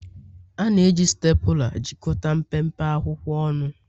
A na-eji Stapula. jikọta mpempe akwụkwọ ọnụ